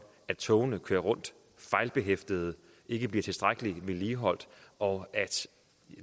at togene kører fejlbehæftede og ikke bliver tilstrækkeligt vedligeholdt og